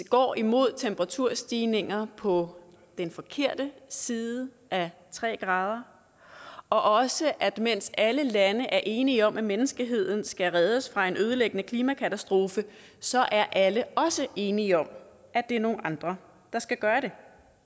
går imod temperaturstigninger på den forkerte side af tre grader og også at mens alle lande er enige om at menneskeheden skal reddes fra en ødelæggende klimakatastrofe så er alle også enige om at det er nogle andre der skal gøre det